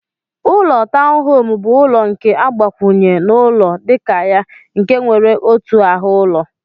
Ụlọ tọwn home bu ụlọ nke agbakwunye na ụlọ dika ya nke nwere otu ahu ụlọ.